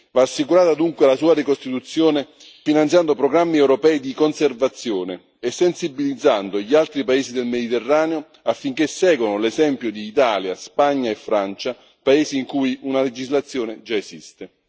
Va assicurata dunque la sua ricostituzione finanziando programmi europei di conservazione e sensibilizzando gli altri paesi del Mediterraneo affinché seguano l'esempio di Italia, Spagna e Francia, paesi in cui una legislazione già esiste.